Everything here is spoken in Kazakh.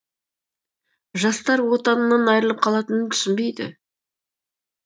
жастар отанынан айырылып қалатынын түсінбейді